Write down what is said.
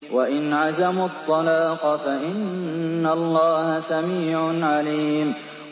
وَإِنْ عَزَمُوا الطَّلَاقَ فَإِنَّ اللَّهَ سَمِيعٌ عَلِيمٌ